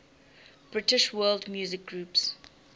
british world music groups